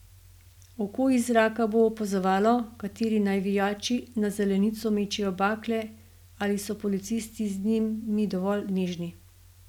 Oko iz zraka bo opazovalo, kateri navijači na zelenico mečejo bakle in ali so policisti z njimi dovolj nežni ...